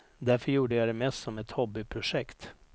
Därför gjorde jag det mest som ett hobbyprojekt.